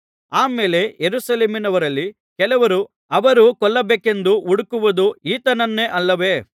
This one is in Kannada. ಆಮೇಲೆ ಯೆರೂಸಲೇಮಿನವರಲ್ಲಿ ಕೆಲವರು ಅವರು ಕೊಲ್ಲಬೇಕೆಂದು ಹುಡುಕುವುದು ಈತನನ್ನೇ ಅಲ್ಲವೇ